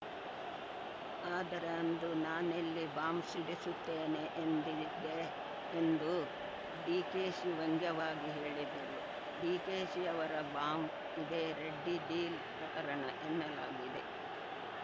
ಆದರೆ ಅಂದು ನಾನೆಲ್ಲಿ ಬಾಂಬ್‌ ಸಿಡಿಸುತ್ತೇನೆ ಎಂದಿದ್ದೆ ಎಂದು ಡಿಕೆಶಿ ವ್ಯಂಗ್ಯವಾಗಿ ಹೇಳಿದ್ದರು ಡಿಕೆಶಿ ಅವರ ಬಾಂಬ್‌ ಇದೇ ರೆಡ್ಡಿ ಡೀಲ್‌ ಪ್ರಕರಣ ಎನ್ನಲಾಗಿದೆ